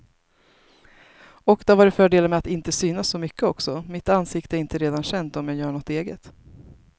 Och det har varit fördelar med att inte synas så mycket också, mitt ansikte är inte redan känt om jag gör något eget.